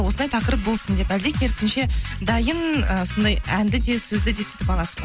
осындай тақырып болсын деп әлде керісінше дайын ыыы сондай әнді де сөзді де сөйтіп аласыз ба